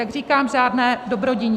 Jak říkám, žádné dobrodiní.